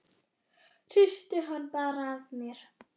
Hristi hann bara af mér.